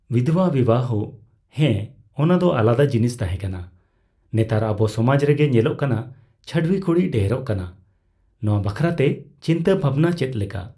ᱵᱤᱫᱷᱚᱵᱟ ᱵᱤᱵᱟᱦᱚ, ᱦᱮᱸ᱾ ᱚᱱᱟᱫᱚ ᱟᱞᱟᱫᱟ ᱡᱤᱱᱤᱥ ᱛᱟᱦᱮᱸᱠᱟᱱᱟ᱾ ᱱᱮᱛᱟᱨ ᱟᱵᱚ ᱥᱚᱢᱟᱡ ᱨᱮᱜᱮ ᱧᱮᱞᱚᱜ ᱠᱟᱱᱟ ᱪᱷᱟᱹᱰᱣᱤ ᱠᱩᱲᱤ ᱰᱷᱮᱨᱚᱜ ᱠᱟᱱᱟ᱾ ᱱᱚᱣᱟ ᱵᱟᱠᱷᱨᱟ ᱛᱮ ᱪᱤᱱᱛᱟ ᱵᱷᱟᱵᱱᱟ ᱪᱮᱫ ᱞᱮᱠᱟ?